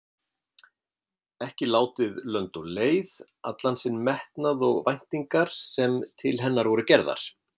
Ekki látið lönd og leið allan sinn metnað og væntingar sem til hennar voru gerðar.